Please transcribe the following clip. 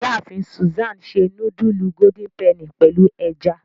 Iyaafin Susan se nudulu Golden Penny pẹlu ẹja.